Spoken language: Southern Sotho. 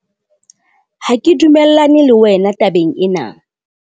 ha ke dumellane le wena tabeng ena